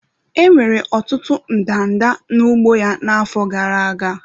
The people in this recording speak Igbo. Enwere ọtụtụ ndanda n'ugbo ya n'afọ gara aga.